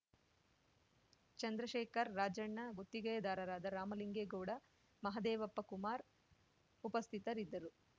ಚಂದ್ರಶೆಖರ್ ರಾಜಣ್ಣ ಗುತ್ತಿಗೆದಾರರಾದ ರಾಮಲಿಂಗೇಗೌಡ ಮಹದೇವಪ್ಪ ಕುಮಾರ್ ಉಪಸ್ಥಿತರಿದ್ದರು